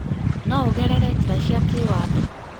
No ũgerere njĩra cia kĩĩwatho